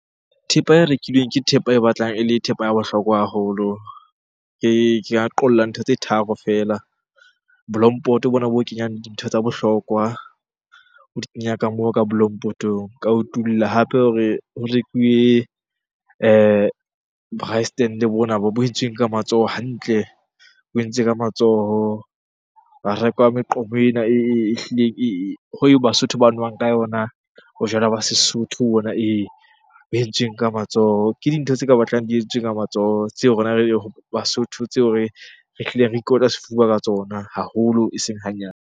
Thepa e rekilweng ke thepa e batlang ele thepa ya bohlokwa haholo. Ke ka qolla ntho tse tharo feela. Bolompoto bona bo kenyang dintho tsa bohlokwa, o di kenya ka moo ka Bolompotong. Ka utulla hape hore ho rekuwe braai stand-e bona bo entsweng ka matsoho hantle, bo entswe ka matsoho. Ba reka meqomo ena ehlileng e Basotho ba nwang ka yona bojwala ba Sesotho bona ee, bo entsuweng ka matsoho. Ke dintho tse ka batlang di entswe ka matsoho, tseo rona Basotho tseo re hlileng re ikotla sefuba ka tsona haholo eseng hanyane.